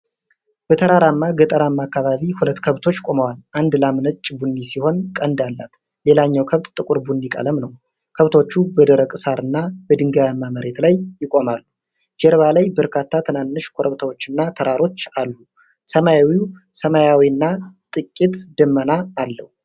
በተራራማ ገጠራማ አካባቢ ሁለት ከብቶች ቆመዋል። አንድ ላም ነጭ ቡኒ ሲሆን ቀንድ አላት። ሌላኛው ከብት ጥቁር ቡኒ ቀለም ነው። ከብቶቹ በደረቅ ሣርና በድንጋያማ መሬት ላይ ይቆማሉ። ጀርባ ላይ በርካታ ትናንሽ ኮረብታዎችና ተራሮች አሉ። ሰማዩ ሰማያዊና ጥቂት ደመና አለው።